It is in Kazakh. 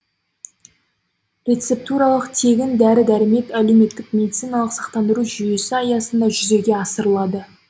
рецептуралық тегін дәрі дәрмек әлеуметтік медициналық сақтандыру жүйесі аясында жүзеге асырылады